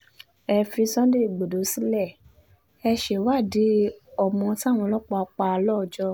ẹ ẹ fi sunday igbodò sílé ẹ̀ ṣèwádìí ọmọ táwọn ọlọ́pàá pa lọ́jọ́